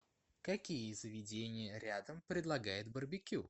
какие заведения рядом предлагают барбекю